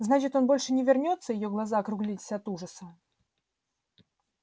значит он больше не вернётся её глаза округлились от ужаса